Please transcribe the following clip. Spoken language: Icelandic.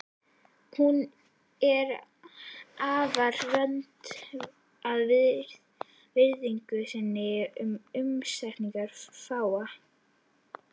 Hún er afar vönd að virðingu sinni og umgengst fáa.